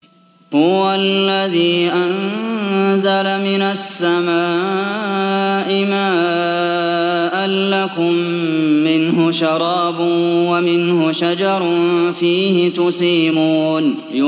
هُوَ الَّذِي أَنزَلَ مِنَ السَّمَاءِ مَاءً ۖ لَّكُم مِّنْهُ شَرَابٌ وَمِنْهُ شَجَرٌ فِيهِ تُسِيمُونَ